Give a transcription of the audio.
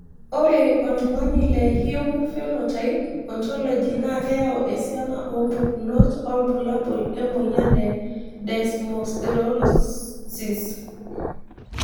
ore oltungani e humn phenotype Ontology na keyau esiana epukunoto olbulabul emoyian e Desmosterolosis.